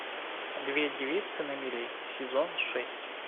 две девицы на мели сезон шесть